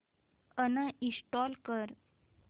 uninstall कर